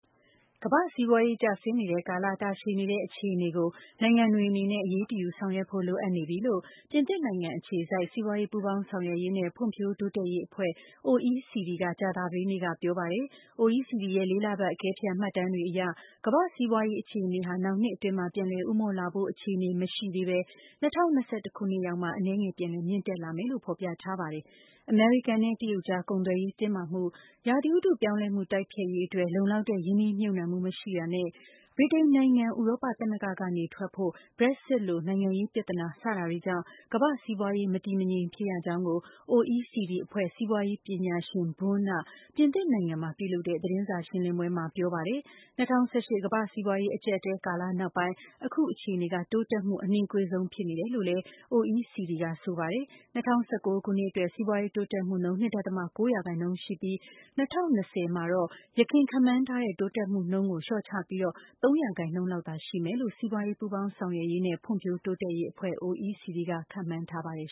ကမ္ဘာ့စီးပွားရေး ကျဆင်းနေတဲ့ကာလ တာရှည်နေတဲ့ အခြေအနေကို နိုင်ငံတွေ အနေနဲ့ အရေးတယူဆောင်ရွက်ဖို့လိုအပ်နေပြီလို့ ပြင်သစ်နိုင်ငံ အခြေစိုက် စီးပွားရေး ပူးပေါင်းဆောင်ရွက်ရေးနဲ့ ဖွံ့ဖြိုးတိုးတက်ရေး အဖွဲ့ OECD က ကြာသပတေးနေ့ကပြောပါတယ်။ OECD ရဲ့ လေးလပတ် အကဲဖြတ်မှတ်တမ်းတွေအရ ကမ္ဘာ့စီးပွားရေးအခြေအနေဟာ နောက်နှစ် အတွင်း ပြန်လည် ဦးမော့ လာဖို့အခြေအနေမရှိသေးပဲ ၂၀၂၁ ခုနှစ်ရောက်မှ အနည်းငယ်ပြန်လည် မြင့်တက်လာမယ်လို့ ဖော်ပြပါတယ်။ အမေရိကန်နဲ့ တရုတ်ကြား ကုန်သွယ်ရေး တင်းမာမှု၊ ရာသီဥတုပြောင်းလဲမှု တိုက်ဖျက်ရေးအတွက် လုံလောက်တဲ့ ရင်းနှီးမြှုပ်နှံမှု မရှိတာနဲ့ ဗြိတိန်နိုင်ငံ ဥရောပ သမဂ္ဂကနေနုတ်ထွက်ဖို့ Brexit လို နိုင်ငံရေးပြဿနာ စတာတွေကြောင့် ကမ္ဘာ့စီးပွားရေး မတည်မငြိမ်ဖြစ်ရကြောင်း OECD အဖွဲ့ စီးပွားရေး ပညာရှင် Boone က ပြင်သစ်နိုင်ငံမှာ ပြုလုပ်တဲ့ သတင်းစာရှင်းလင်းပွဲ မှာပြောပါတယ်။ ၂၀၀၈ ကမ္ဘာ့စီးပွားရေး အကြပ်အတည်း ကာလနောက်ပိုင်း အခုအခြေအနေက တိုးတက်မှု အနှေးကွေးဆုံးဖြစ်နေတယ်လို့လည်း OECD က ဆိုပါတယ်။ ၂၀၁၉ ခုနှစ်အတွက် စီးပွားရေးတိုးတက်မှုနှှုန်း ၂.၉ ရာခိုင်နှုန်းရှိပြီး ၂၀၂၀မှာတော့ ယခင်ခန့်မှန်းထားတဲ့ တိုးတက်မှုနှုန်းကို လျော့ချပြီး ၃ ရာခိုင်နှုန်းသာရှိမယ်လို့ စီးပွားရေး ပူးပေါင်းဆောင်ရွက်ရေးနဲ့ ဖွံ့ဖြိုးတိုးတက်ရေး အဖွဲ့ OECD က ခန့်မှန်း ထားပါတယ်